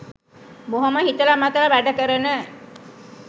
බොහොම හිතල මතල වැඩ කරන